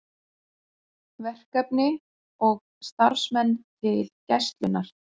Verkefni og starfsmenn til Gæslunnar